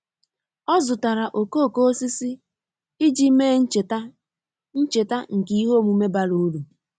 Ọ́ zụ́tàrà okooko osisi iji mèé ncheta ncheta nke ihe omume bara uru.